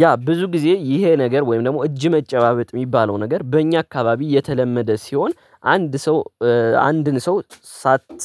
ያ ብዙ ጊዜ ይሄ ነገር ወይም ደግሞ እጅ መጨባበጥ የሚባለው ነገር በእኛ አካባቢ የተለመደ ሲሆን። አንድ ሰው አንድን ሰው